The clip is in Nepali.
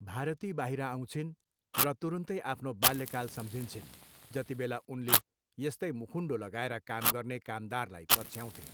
भारती बाहिर आउँछन् र तुरुन्तै आफ्नो बाल्यकाल सम्झन्छिन्, जतिबेला उनले यस्तै मुखुन्डो लगाएर काम गर्ने कामदारलाई पछ्याउँथे।